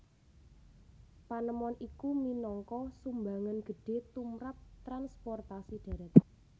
Panemon iku minangka sumbangan gedhe tumrap transportasi dharat